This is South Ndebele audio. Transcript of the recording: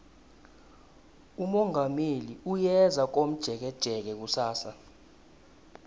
umongameli uyeza komjekejeke kusasa